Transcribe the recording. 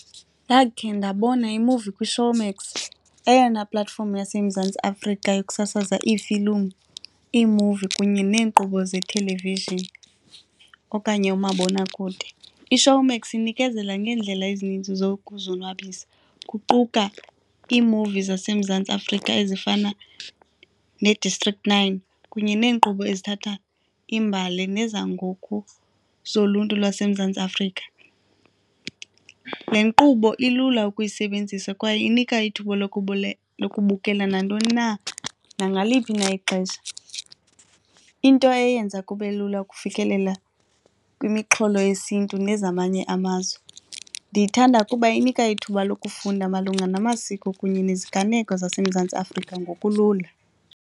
Ndakhe ndabona imuvi kwiShowmax, eyona platform yaseMzantsi Afrika yokusasaza iifilimu, iimuvi kunye neenkqubo ze-television okanye umabonakude. IShowmax inikezela ngeendlela ezininzi zokuzonwabisa, kuquka iimuvi zaseMzantsi Afrika ezifana neDistrict Nine kunye neenkqubo ezithatha imbali nezangoku zoluntu lwaseMzantsi Afrika. Le nkqubo ilula ukuyisebenzisa kwaye inika ithuba lokubukela nantoni na nangaliphi na ixesha, into eyenza kube lula ukufikelela kwimixholo yesiNtu nezamanye amazwe. Ndiyithanda kuba inika ithuba lokufunda malunga namasiko kunye neziganeko zaseMzantsi Afrika ngokulula.